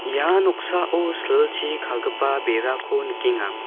ia noksao silchi kagipa berako nikenga.